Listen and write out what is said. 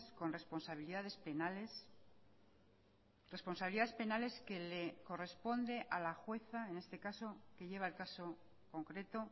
con responsabilidades penales responsabilidades penales que le corresponde a la jueza en este caso que lleva el caso concreto